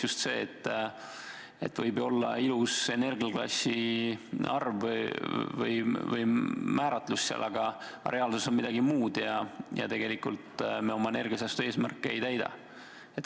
Võib ju olla ilus energiaklassi määratlus, aga reaalsus on midagi muud ja tegelikult me oma energiasäästu eesmärke ei täida.